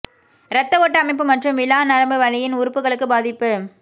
இரத்த ஓட்ட அமைப்பு மற்றும் விலா நரம்பு வலியின் உறுப்புகளுக்கு பாதிப்பு